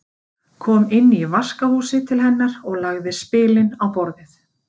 Kom inn í vaskahúsið til hennar og lagði spilin á borðið.